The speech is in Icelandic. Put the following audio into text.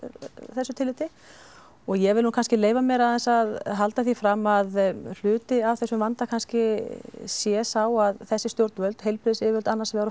þessu tilliti og ég vill nú kannski leyfa mér aðeins að halda því fram að hluti af þessum vanda kannski sé sá að þessi stjórnvöld heilbrigðismálayfirvöld annars vegar og